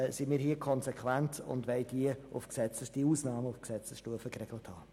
Deshalb sind wir hier konsequent und wollen diese Ausnahmen auf Gesetzesstufe geregelt haben.